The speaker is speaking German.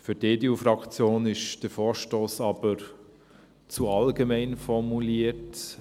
– Für die EDU-Fraktion ist der Vorstoss aber zu allgemein formuliert.